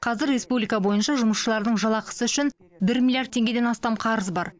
қазір республика бойынша жұмысшылардың жалақысы үшін бір миллиард теңгеден астам қарыз бар